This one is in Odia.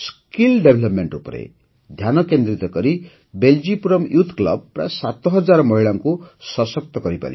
ଦକ୍ଷତା ବିକାଶ ଉପରେ ଧ୍ୟାନକେନ୍ଦ୍ରିତ କରି ବେଲ୍ଜିପୁରମ୍ ୟୁଥ୍ କ୍ଲବ ପ୍ରାୟ ସାତହଜାର ମହିଳାଙ୍କୁ ସଶକ୍ତ କରିପାରିଛି